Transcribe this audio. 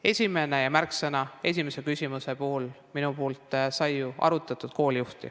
Esimene märksõna esimese küsimuse puhul minu poolt on koolijuht, seda sai arutatud.